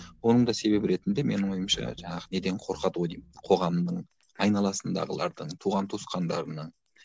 оның да себебі ретінде менің ойымша жаңағы неден қорқады ғой деймін қоғамның айналасындағылардың туған туысқандарының